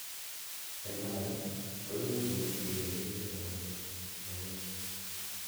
en Alan, koimuch imokyigei kerichek anan ko yenyet